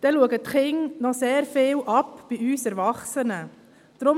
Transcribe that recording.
Dann schauen die Kinder auch sehr viel bei uns Erwachsenen ab.